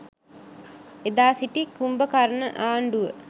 එදා සිටි කුම්භකරන ආණ්ඩුව